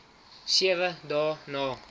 sewe dae na